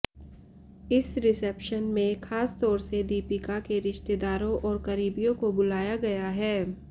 इस रिसेप्शन में खास तौर से दीपिका के रिश्तेदारों और करीबियों को बुलाया गया है